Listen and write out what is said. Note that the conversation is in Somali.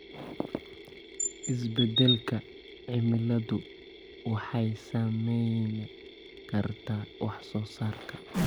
Isbeddelka cimiladu waxay saameyn kartaa wax soo saarka.